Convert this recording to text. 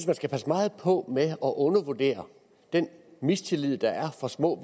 man skal passe meget på med at undervurdere den mistillid der er fra små